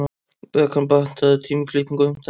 Bekan, pantaðu tíma í klippingu á fimmtudaginn.